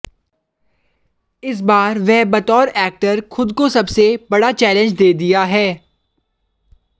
इस बार वह बतौर एक्टर खुद को सबसे बड़ा चैलेंज दिया है